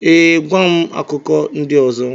ee, gwa m akụkọ ndị ọzọ.